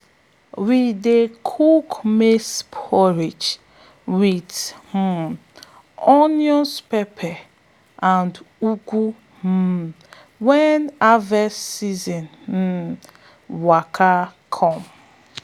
we dey cook maize porridge with um onion pepper and ugwu um when harvest um season waka come.